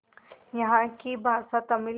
यहाँ की भाषा तमिल